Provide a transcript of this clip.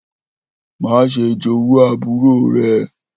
Maṣe jowu àbúrò rẹ!